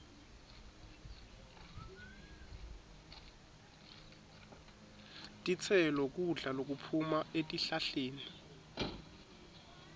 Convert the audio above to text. titselo kudla lokuphuma etihlahleni